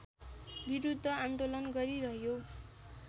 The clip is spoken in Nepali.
विरूद्ध आन्दोलन गरिरह्यो